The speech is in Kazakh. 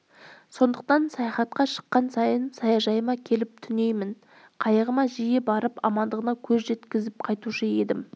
сондықтан саяхатқа шыққан сайын саяжайыма келіп түнеймін қайығыма жиі барып амандығына көз жеткізіп қайтушы едім